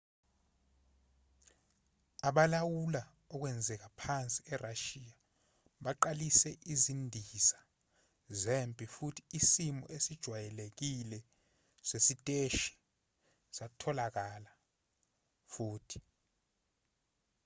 abalawula okwenzeka phansi erashiya baqalise izindiza zempi futhi isimo esijwayelekile sesiteshi satholakala futhi